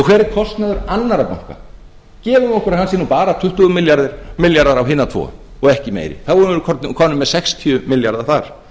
kostnaður annarra banka gefum okkur að hann sé nú bara tuttugu milljarðar á hina tvo og ekki meir þá erum við komin með sextíu milljarða þar